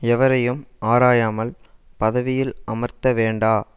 எவரையும் ஆராயாமல் பதவியில் அமர்த்த வேண்டா